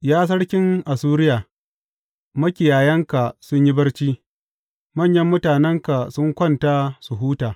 Ya sarkin Assuriya, makiyayanka sun yi barci; manyan mutanenka sun kwanta su huta.